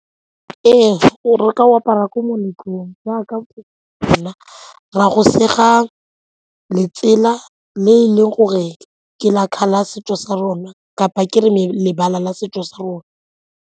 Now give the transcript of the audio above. Ee, re ne re ka o apara ko meletlong jaaka re a go sega letsela le e leng gore ke la ka la setso sa rona kapa ke re mare lebala la setso sa rona.